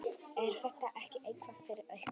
Er þetta ekki eitthvað fyrir ykkur